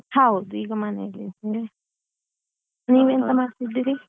ಹೌದು ಈಗ ಮನೆಯಲ್ಲಿ ಇದ್ದೇನೆ ನೀವೇಂತ ಮಾಡ್ತಿದ್ದೀರಿ?